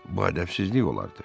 Bu ədəbsizlik olardı.